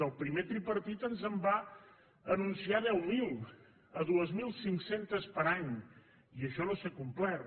el primer tripartit ens en va anunciar deu mil dos mil cinc cents per any i això no s’ha complert